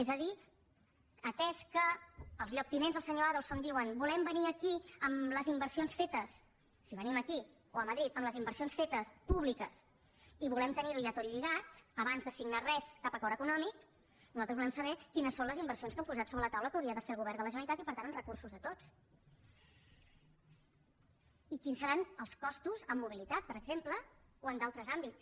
és a dir atès que els lloctinents del senyor adelson diuen volem venir aquí amb les inversions fetes si venim aquí o a madrid amb les inversions fetes públiques i volem tenir ho ja tot lligat abans de signar res cap acord econòmic nosaltres volem saber quines són les inversions que han posat sobre la taula que hauria de fer el govern de la generalitat i per tant amb recursos de tots i quins seran els costos en mobilitat per exemple o en altres àmbits